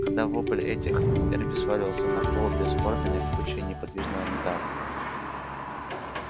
когда вопль утих эрби свалился на пол бесформенной кучей неподвижного металла